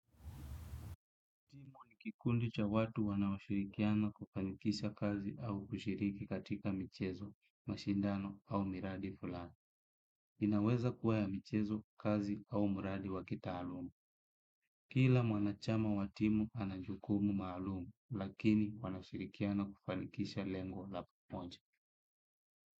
Timu ni kikundi cha watu wanaoshirikiana kufanikisha kazi au kushiriki katika michezo, mashindano au miradi fulani. Inaweza kuwa ya michezo, kazi au mradi wa kitaaluma. Kila mwanachama wa timu ana jukumu maalumu, lakini wanashirikiana kufanikisha lengo la pamoja.